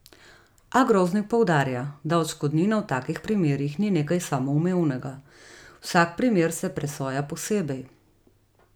A Groznik poudarja, da odškodnina v takih primerih ni nekaj samoumevnega: "Vsak primer se presoja posebej.